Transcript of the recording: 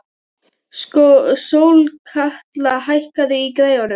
Sólkatla, hækkaðu í græjunum.